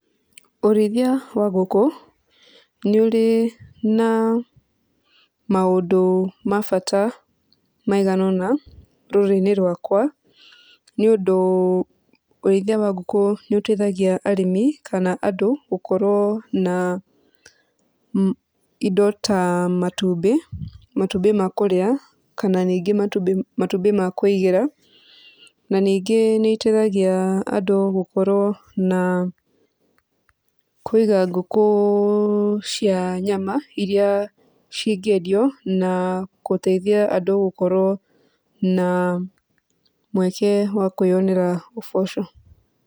Ũrĩithia wa ngũkũ nĩ ũrĩ na maũndũ mabata maiganona rũrĩrĩ-inĩ rwakwa nĩ ũndũ ũrĩithia wa ngũkũ nĩ ũteithagia arĩmi kana andũ gukorwo na indo ta matumbĩ, matumbĩ ma kũrĩa kana ningĩ matumbĩ ma kũigĩra na ningĩ nĩ ĩteithagia andũ gũkorwo na kũiga ngũkũ cia nyama iria ci ngĩendio na gũteithia andũ gũkorwo na mweke wa andũ wa kwĩyonera ũboco.